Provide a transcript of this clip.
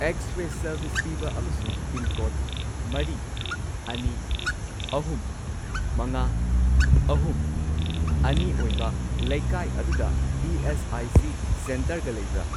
X ray service ꯄꯤꯕ ꯑꯃꯁꯨꯡ pincode ꯃꯔꯤ, ꯑꯅꯤ, ꯑꯍꯨꯝ, ꯃꯉꯥ, ꯑꯍꯨꯝ, ꯑꯅꯤ ꯑꯣꯏꯕ ꯂꯩꯀꯥꯏ ꯑꯗꯨꯗ ꯏ.ꯑꯦꯁ.ꯑꯥꯏ.ꯁꯤ. ꯁꯦꯟꯇꯔꯒ ꯂꯩꯕ꯭ꯔꯥ?